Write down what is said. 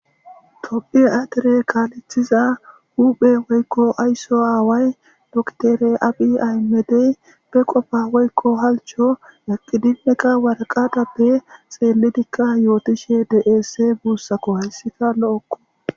Tophiya dere kaalethiza huuphe wokko ayso aaway dokitere abiy aymedey be qofa woyko halcho waraqatape xeelidinne yootishe dees guussako.hayssika lo7okko.